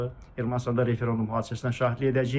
Ermənistanda referendum hadisəsinə şahidlik edəcəyik.